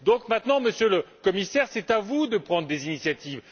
Maintenant, Monsieur le Commissaire, c'est donc à vous de prendre des initiatives.